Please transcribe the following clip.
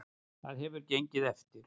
Það hefur gengið eftir.